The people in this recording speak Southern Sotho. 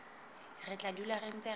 re tla dula re ntse